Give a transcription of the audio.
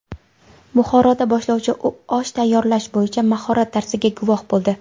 Buxoroda boshlovchi osh tayyorlash bo‘yicha mahorat darsiga guvoh bo‘ldi.